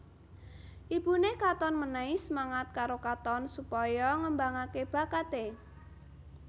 Ibuné Katon mènèhi semangat karo Katon supaya ngembangaké bakaté